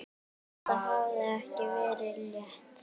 Þetta hafði ekki verið létt.